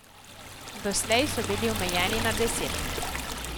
Doslej so bili omejeni na deset.